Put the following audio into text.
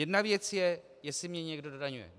Jedna věc je, jestli mě někdo dodaňuje.